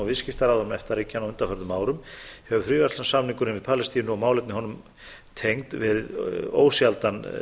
viðskiptaráðherrum efta ríkjanna á undanförnum árum hefur fríverslunarsamningurinn við palestínu og málefni honum tengd verið ósjaldan